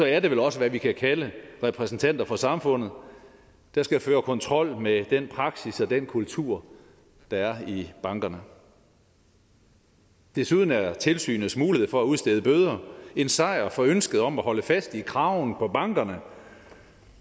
er det vel også hvad vi kan kalde repræsentanter for samfundet der skal føre kontrol med den praksis og den kultur der er i bankerne desuden er tilsynets mulighed for at udstede bøder en sejr for ønsket om at holde fast i kraven på bankerne